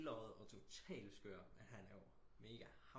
Skeløjet og total skør men han er jo mega